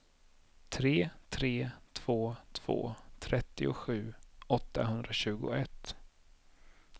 tre tre två två trettiosju åttahundratjugoett